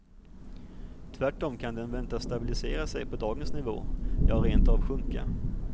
Tvärtom kan den väntas stabilisera sig på dagens nivå, ja rent av sjunka.